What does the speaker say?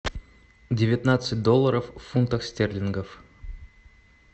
девятнадцать долларов в фунтах стерлингов